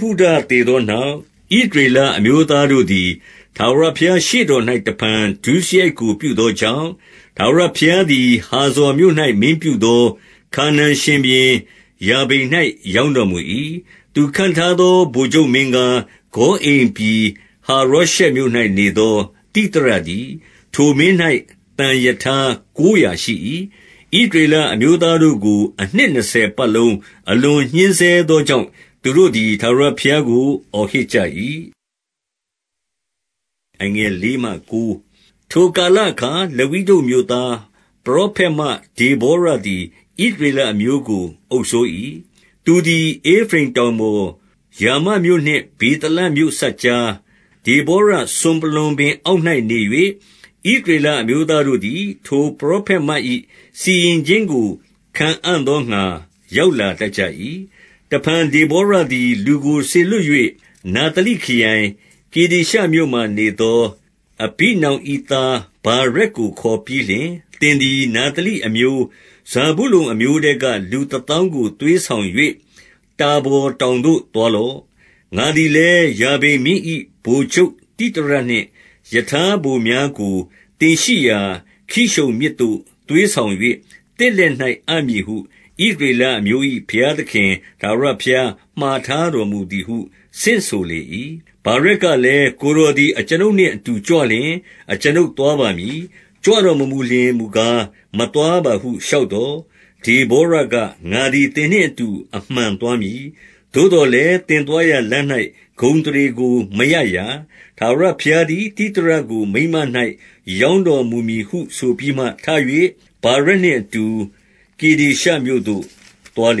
ဟုဒသေသောနောက်၊ ဣသရေလအမျိုးသားတို့သည် ထာဝရဘုရား ရှေ့တော်၌ တဖန် ဒုစရိုက်ကို ပြုသောကြောင့်၊ 2 ထာဝရဘုရားသည် ဟာဇော်မြို့၌ မင်းပြုသော ခါနာန်ရှင်ဘုရင်ရာဘိန်၌ ရောင်းတော်မူ၏။ သူခန့်ထားသော ဗိုလ်ချုပ်မင်းကား၊ ဂေါအိမ်ပြည်ဟာရောရှက်မြို့၌ နေသော သိသရတည်း။ 3 ထိုမင်း၌ သံရထားကိုးရာရှိ၏။ ဣသရေလအမျိုးသားတို့ကို အနှစ်နှစ်ဆယ်ပတ်လုံး အလွန်ညှဉ်းဆဲ သောကြောင့်၊ သူတို့သည် ထာဝရဘုရားကို အော်ဟစ်ကြ၏။ 4 ထိုကာလအခါ လပိဒုတ်မြို့သား ပရောဖက်မ ဒေဗောရသည် ဣသရေလအမျိုးကို အုပ်စိုး၏။ 5 သူသည် ဧဖရိမ်တောင်ပေါ်၊ ရာမမြို့နှင့် ဗေသလမြို့စပ်ကြား၊ ဒေဗောရစွန်ပလွံပင်အောက်မှာနေ၍၊ ဣသရေလအမျိုးသားတို့သည် ထိုပရောဖက်မ၏ စီရင်ခြင်းကို ခံအံ့သောငှါ ရောက်လာတတ်ကြ၏။ 6 တဖန် ဒေဗောရသည် လူကို စေလွှတ်၍၊ နဿလိခရိုင်ကေဒေရှမြို့မှာနေသော အဘိနောင်၏ သား ဗာရက်ကို ခေါ်ပြီးလျှင်၊ သင်သည် နဿလိအမျိုး၊ ဇာဗုလုန်အမျိုးထဲက လူတသောင်းကို သွေးဆောင်၍ တာဗော်တောင်သို့ သွားလော့။ 7 ငါသည်လည်း ယာဘိန်မင်း၏ ဗိုလ်ချုပ်သိသရနှင့် ရထားဗိုလ်ပါများကို သင်ရှိရာ ကိရှုန်မြစ်သို့ သွေးဆောင်၍ သင့်လက်၌ အပ်မည်ဟု ဣသရေလအမျိုး၏ ဘုရားသခင် ထာဝရဘုရား မှာထားတော်မူသည်ဟု ဆင့်ဆိုလေ၏။ 8 ဗာရက်ကလည်း၊ ကိုယ်တော်သည် အကျွန်ုပ်နှင့်အတူ ကြွလျှင် အကျွန်ုပ်သွားပါမည်။ ကြွတော်မမူလျှင် မူကား မသွားပါဟု လျှောက်သော်၊ 9 ဒေဗောရက၊ ငါသည် သင်နှင့်အတူ အမှန်သွားမည်။ သို့သော်လည်း သင်သွားရာလမ်း၌ ဂုဏ်အသရေကို မရရာ။ ထာဝရဘုရားသည် သိသရကို မိန်းမ၌ ရောင်းတော်မူမည်ဟု ဆိုပြီးမှ ထ၍ ဗာရက်နှင့်အတူ ကေဒေရှမြို့သို့ သွားလေ၏။ 10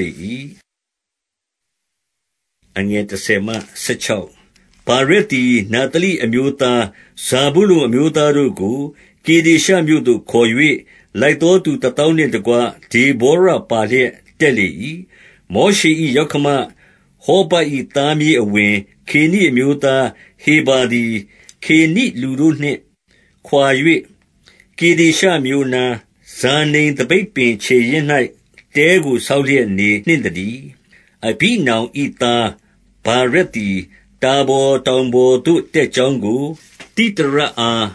ဗာရက်သည် နဿလိအမျိုးသား၊ ဇာဗုလုန်အမျိုးသားတို့ကို ကေဒေရှမြို့သို့ ခေါ်၍ လိုက်သောသူ တသောင်းနှင့်တကွ ဒေဗောရပါလျက် တက်လေ၏။ 11 မောရှေ၏ယောက္ခမဟောဗတ်၏သားမြေးအဝင်၊ ကေနိအမျိုးသားဟေဗာသည်၊ ကေနိလူတို့နှင့် ခွာ၍ ကေဒေရှမြို့အနား၊ ဇာနိမ်သပိတ်ပင် ခြေရင်း၌ တဲကို ဆောက်လျက် နေနှင့်သတည်း။ 12 အဘိနောင်၏သားဗာရက်သည် တာဗော်တောင်ပေါ်သို့ တက်ကြောင်းကို သိသရအား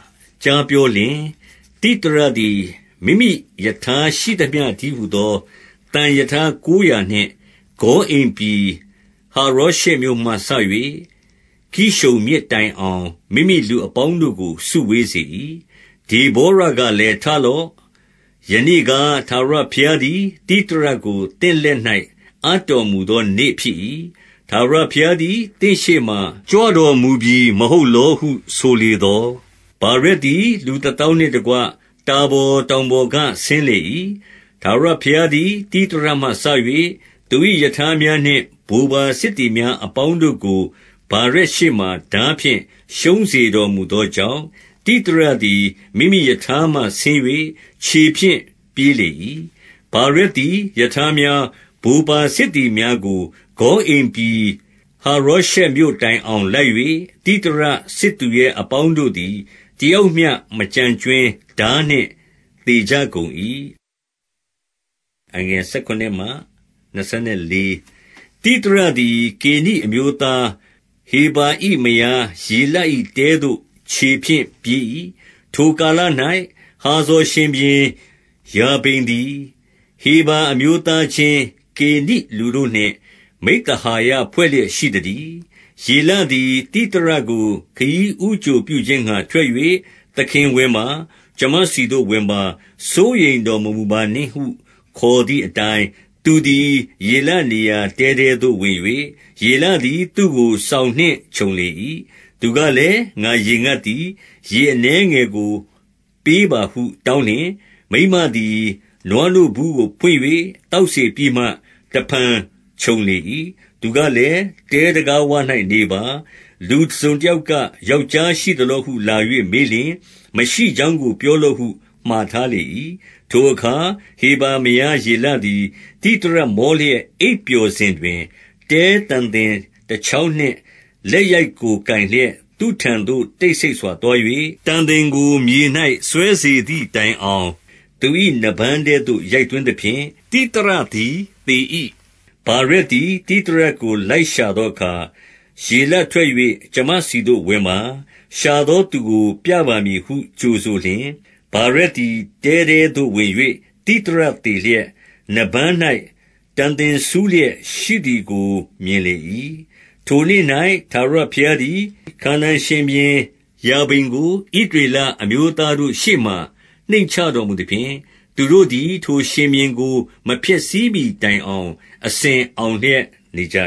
ကြားပြောလျှင်၊ 13 သိသရသည် မိမိရထားရှိသမျှတည်းဟူသော သံရထားကိုးရာနှင့် ဂေါအိမ်ပြည်ဟာရောရှက်မြို့မှစ၍ ကိရှုန်မြစ်တိုင်အောင် မိမိလူအပေါင်းတို့ကို စုဝေးစေ၏။ 14 ဒေဗောရကလည်း ထလော့။ ယနေ့ကား ထာဝရဘုရားသည် သိသရကို သင့်လက်၌ အပ်တော်မူသော နေ့ဖြစ်၏။ ထာဝရဘုရားသည် သင့်ရှေ့မှာ ကြွတော်မူပြီ မဟုတ်လောဟု ဆိုလေသော်၊ ဗာရက်သည် လူတသောင်းနှင့်တကွ တာဗော်တောင်ပေါ်က ဆင်းလေ၏။ 15 ထာဝရဘုရားသည် သိသရမှစ၍ သူ၏ရထားများနှင့် ဗိုလ်ပါစစ်သည်များအပေါင်းတို့ကို ဗာရက်ရှေ့မှာ ထားဖြင့် ရှုံးစေတော်မူသောကြောင့်၊ သိသရသည် မိမိရထားမှဆင်း၍ ခြေဖြင့် ပြေးလေ၏။ 16 ဗာရက်သည် ရထားများ၊ ဗိုလ်ပါစစ်သည်များကို ဂေါအိမ်ပြည် ဟာရောရှက်မြို့တိုင်အောင် လိုက်၍၊ သိသရစစ်သူရဲအပေါင်းတို့သည် တယောက်မျှ မကျန်ကြွင်း ထားနှင့် သေကြကုန်၏။ 17 သိသရသည် ကေနိအမျိုးသား ဟေဗာ၏ မယားယေလ၏တဲသို့ ခြေဖြင့် ပြေး၏။ ထိုကာလ၌ ဟာဇော်ရှင်ဘုရင် ယာဘိန်သည် ဟေဗာအမျိုးသားချင်း ကေနိလူတို့နှင့် မိဿဟာယဖွဲ့လျက် ရှိသတည်း။ 18 ယေလသည် သိသရကို ခရီးဦးကြိုပြုခြင်းငှါ ထွက်၍၊ သခင်ဝင်ပါ၊ ကျွန်မဆီသို့ ဝင်ပါ။ စိုးရိမ်တော် မမူပါနှင့်ဟု ခေါ်သည်အတိုင်း၊ သူသည် ယေလနေရာတဲထဲသို့ ဝင်၍ ယေလသည် သူ့ကို စောင်နှင့် ခြုံလေ၏။ 19 သူကလည်း၊ ငါရေငတ်သည်၊ ရေအနည်းငယ်ကို ပေးပါဟု တောင်းလျှင်၊ မိန်းမသည် နွားနို့ဘူးကို ဖွင့်၍ သောက်စေပြီးမှ တဖန် ခြုံလေ၏။ 20 သူကလည်း၊ တဲတံခါးဝ၌ နေပါ။ လူတစုံတယောက်က ယောက်ျားရှိသလောဟု လာ၍ မေးလျှင် မရှိကြောင်းကို ပြောလော့ဟု မှာထားလေ၏။ 21 ထိုအခါ ဟေဗာမယား ယေလသည် သိသရမောလျက် အိပ်ပျော်စဉ်တွင်၊ တဲတံသင်တချောင်းနှင့် လက်ရိုက်ကို ကိုင်လျက် သူ့ထံသို့ တိတ်ဆိတ်စွာ သွား၍ တံသင်ကို မြေ၌ စွဲစေသည်တိုင်အောင် သူ၏ နားပန်းထဲသို့ ရိုက်သွင်းသဖြင့် သိသရသည် သေ၏။ 22 ဗာရက်သည် သိသရကို လိုက်ရှာသောအခါ၊ ယေလထွက်၍ ကျွန်မဆီသို့ ဝင်ပါ။ ရှာသောသူကို ပြပါမည်ဟု ကြိုဆိုလျှင်၊ ဗာရက်သည် တဲထဲသို့ ဝင်၍ သိသရသေလျက်၊ နားပန်း၌ တံသင် စူးလျက်ရှိသည်ကို မြင်လေ၏။ 23 ထိုနေ့၌ ထာဝရဘုရားသည် ခါနာန်ရှင်ဘုရင်ယာဘိန်ကို၊ ဣသရေလအမျိုးသားတို့ရှေ့မှာ နှိမ့်ချတော်မူ သဖြင့်၊ 24 သူတို့သည် ထိုရှင်ဘုရင်ကို မဖျက်ဆီးမှီ တိုင်အောင် အစဉ်အောင်လျက် နေကြ